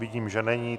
Vidím, že není.